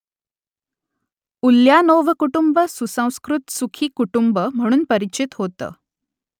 Ulyanov कुटुंब सुसंस्कृत सुखी कुटुंब म्हणून परिचित होतं